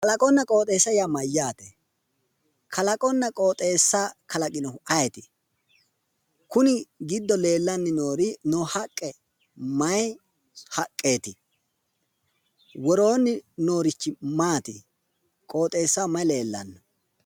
Kalaqonna qooxeessa yaa mayyaate? Kalaqonna qooxeessa kalaqinohu ayeeti? Kuni giddo leellanni noori noo haqqe mayi haqqeeti? Woroonni noorichi maati? Qooxeessaho mayi leellanno?